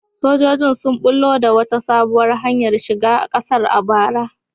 Sojojin sun bullo da wata sabuwar hanyar shiga kasar a bara.